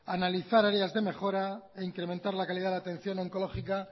analizar áreas de mejora e incrementar la calidad de atención oncológica